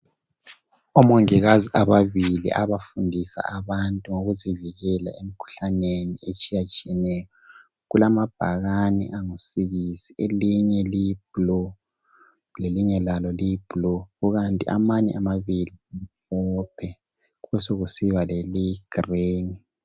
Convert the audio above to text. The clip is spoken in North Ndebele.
Omongikazi ababili abafundisa abantu ngokuzivikela emkhuhlaneni etshiyatshiyeneyo kulamabhakane angusikisi elinye liyi blue lelinye lalo liyi blue kukanti amanye amabili amhlophe kubesekusiba leliyi green.